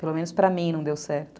Pelo menos para mim não deu certo.